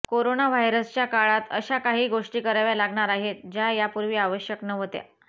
corona व्हायरसच्या काळात अशा काही गोष्टी कराव्या लागणार आहेत ज्या यापूर्वी आवश्यक नव्हत्या